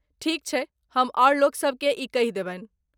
ठीक छैक, हम आओर लोकसभ केँ ई कहि देबनि ।